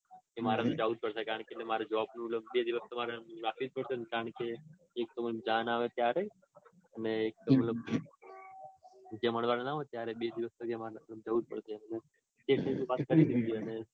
એ મારે જાઉં જ પડશે. કારણકે મારે job નું દિવસ તો મારે મંગાવી જ પડશે. એક તો જયારે જાન આવે ત્યારે અને એકતો મતલબ જે મળવાનું ના હોય ત્યારે. બે દિવસ તો મારે લગનમાં જાઉં જ પડશે.